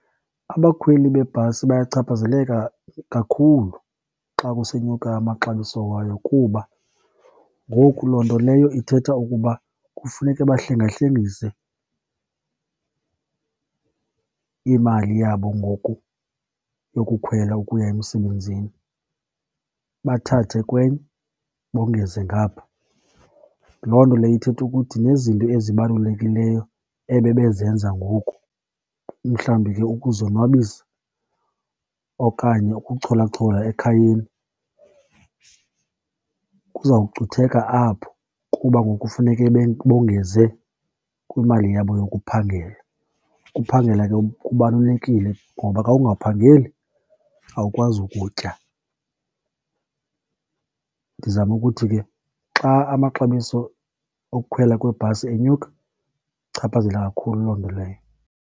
Abakhweli bebhasi bayachaphazeleka kakhulu xa kusenyuka amaxabiso wayo, kuba ngoku loo nto leyo ithetha ukuba kufuneke bahlengahlengise imali yabo ngoku yokukhwela ukuya emsebenzini, bathathe kwenye bongeze ngapha. Loo nto leyo ithetha ukuthi nezinto ezibalulekileyo ebebezenza ngoku, umhlawumbi ke ukuzonwabisa okanye ukucholachola ekhayeni kuzawucutheka apho kuba ngoku kufuneke bongenze kwimali yabo yokuphangela. Ukuphangela ke kubalulekile ngoba ka ungaphangeli awukwazi ukutya. Ndizama ukuthi ke, xa amaxabiso okukhwela kwebhasi enyuka ichaphazela kakhulu loo nto leyo.